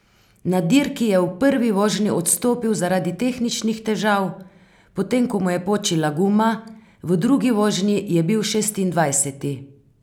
Na dirki je v prvi vožnji odstopil zaradi tehničnih težav, potem, ko mu je počila guma, v drugi vožnji je bil šestindvajseti.